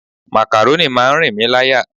Makaroni máa ń rìn mí láyà.